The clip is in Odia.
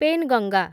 ପେନ୍‌ଗଙ୍ଗା